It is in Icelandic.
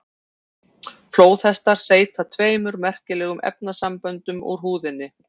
Flóðhestar seyta tveimur merkilegum efnasamböndum úr húðinni.